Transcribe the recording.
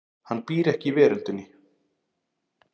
Hann býr ekki í veröldinni.